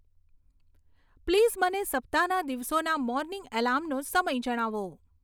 please મને સપ્તાહના દિવસોના મોર્નિંગ એલાર્મનો સમય જણાવો